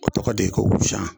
A tɔgɔ de ko wusan